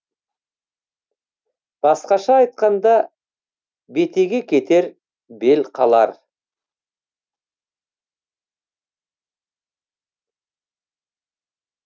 басқаша айтқанда бетеге кетер бел қалар